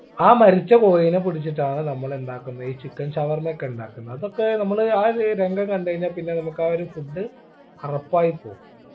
ആ മരിച്ച കോഴിനെ പിടിച്ചിട്ടാണ് നമ്മൾ എന്താക്കുന്നെ ഈ chicken ഷവർമ ഒക്കെ ഉണ്ടാക്കുന്നെ അതൊക്കെ നമ്മള് ആ ഒര് രംഗം കണ്ടഴിഞ്ഞാ പിന്നെ നമുക്ക് ആ ഒരു food അറപ്പായിപ്പോവും